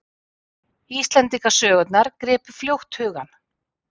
Íslendingasögurnar gripu fljótt hugann.